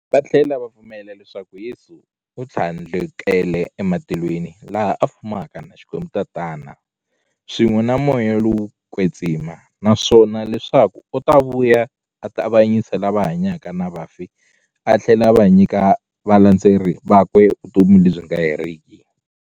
Vathlela va pfumela leswaku Yesu u thlandlukele ematilweni, laha a fumaka na Xikwembu-Tatana, swin'we na Moya lowo kwetsima, naswona leswaku u ta vuya a ta avanyisa lava hanyaka na vafi athlela a nyika valandzeri vakwe vutomi lebyi nga heriki.